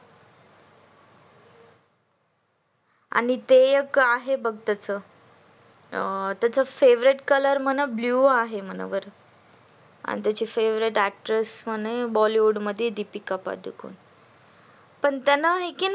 आणि ते एक आहे बघ त्याच favorite color म्हणा blue आहे म्हणा आणि त्याची favorite actress मध्ये दीपिका पदूकोण पण त्याला आहे की नाही